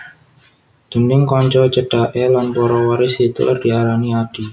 Déning kanca cedhaké lan para waris Hitler diarani Adi